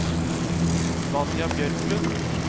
Vanja Bjørklund